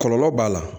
Kɔlɔlɔ b'a la